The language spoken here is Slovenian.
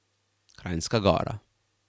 Kranjska Gora.